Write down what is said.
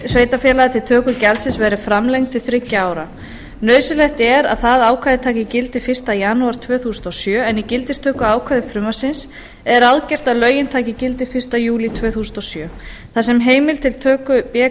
sveitarfélaga til töku gjaldsins verði framlengt til þriggja ára nauðsynlegt er að það ákvæði taki gildi fyrsta janúar tvö þúsund og sjö en í gildistökuákvæði frumvarpsins er ráðgert að lögin taki gildi fyrsta júlí tvö þúsund og sjö þar sem heimild til töku b